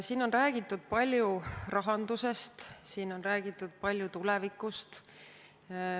Siin on räägitud palju rahandusest, siin on räägitud palju tulevikust.